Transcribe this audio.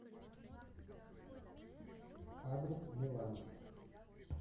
адрес меланж